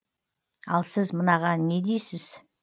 ал сіз мынаған не дейсіз